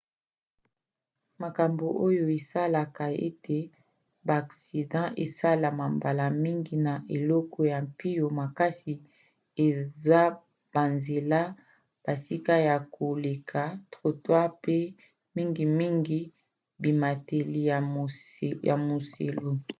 makambo oyo esalaka ete baaksida esalema mbala mingi na eleko ya mpio makasi eza banzela bisika ya koleka trottoirs pe mingimingi bimateli ya muselu